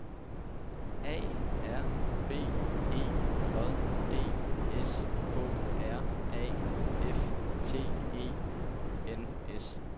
A R B E J D S K R A F T E N S